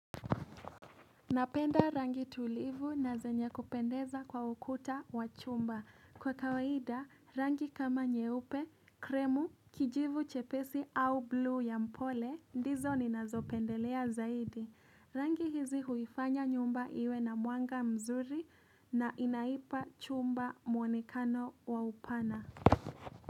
Napenda rangi tulivu na zenye kupendeza kwa ukuta wa chumba. Kwa kawaida, rangi kama nyeupe, kremu, kijivu chepesi au blue ya mpole, ndizo ni nazopendelea zaidi. Rangi hizi huifanya nyumba iwe na mwanga mzuri na inaipa chumba muonekano wa upana.